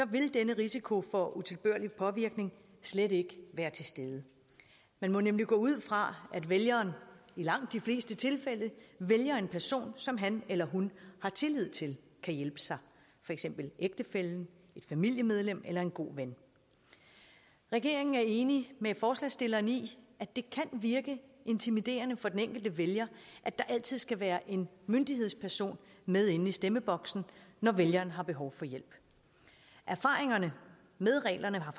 vil denne risiko for utilbørlig påvirkning slet ikke være til stede man må nemlig gå ud fra at vælgeren i langt de fleste tilfælde vælger en person som han eller hun har tillid til kan hjælpe sig for eksempel ægtefællen et familiemedlem eller en god ven regeringen er enig med forslagsstilleren i at det kan virke intimiderende for den enkelte vælger at der altid skal være en myndighedsperson med inde i stemmeboksen når vælgeren har behov for hjælp erfaringerne med reglerne har